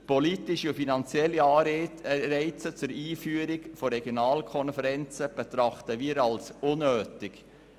Politische und finanzielle Anreize zur Einführung von Regionalkonferenzen betrachten wir als unnötig.